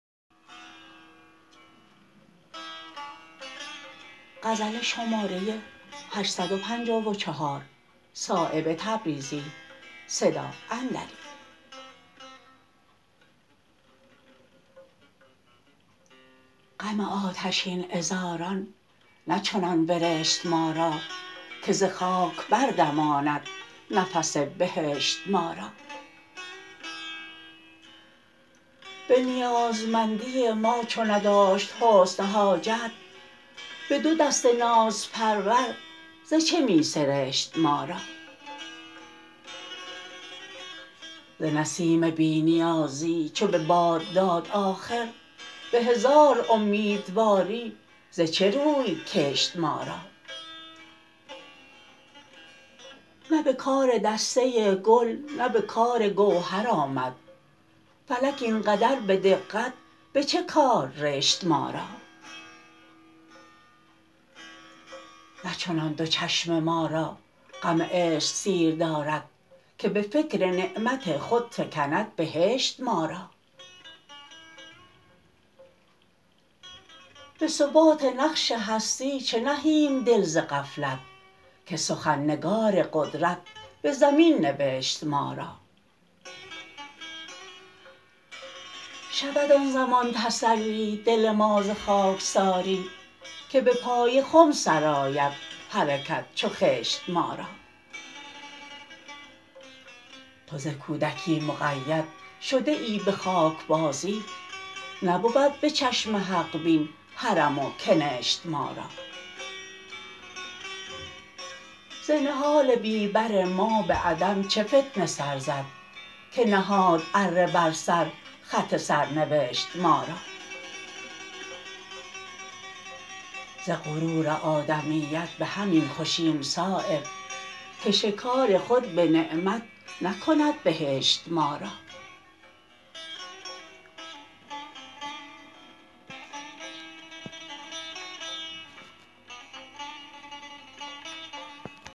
غم آتشین عذاران نه چنان برشت ما را که ز خاک بردماند نفس بهشت ما را به نیازمندی ما چو نداشت حسن حاجت به دو دست نازپرور ز چه می سرشت ما را ز نسیم بی نیازی چو به باد داد آخر به هزار امیدواری ز چه روی کشت ما را نه به کار دسته گل نه به کار گوهر آمد فلک این قدر به دقت به چه کار رشت ما را نه چنان دو چشم ما را غم عشق سیر دارد که به فکر نعمت خود فکند بهشت ما را به ثبات نقش هستی چه نهیم دل ز غفلت که سخن نگار قدرت به زمین نوشت ما را شود آن زمان تسلی دل ما ز خاکساری که به پای خم سرآید حرکت چو خشت ما را تو ز کودکی مقید شده ای به خاکبازی نبود به چشم حق بین حرم و کنشت ما را ز نهال بی بر ما به عدم چه فتنه سر زد که نهاد اره بر سر خط سرنوشت ما را ز غرور آدمیت به همین خوشیم صایب که شکار خود به نعمت نکند بهشت ما را